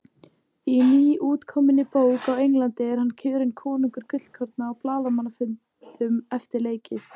Í nýútkominni bók á Englandi er hann kjörinn konungur gullkorna á blaðamannafundum eftir leiki!